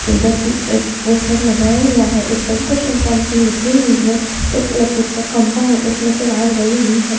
इधर भी एक पोस्टर लगाया हुआ है उसपे भी कुछ इनफार्मेशन लिखी हुई है एक इलेक्ट्रिक का खम्बा है उसमें से वायर गई हुई हैं।